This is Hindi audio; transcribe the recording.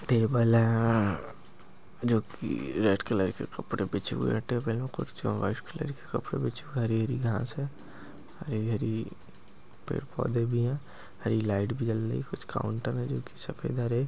टेबल है हा जो कि रेड कलर कि कपडे बिचा हुआ है कुछ व्हाईट कलर के कपडे बिचा हुए है हरी हरी घास है हरी हरी पेड पौदे भी है हरी लाईट भी जल और काउंटर है जो सफेद हरे--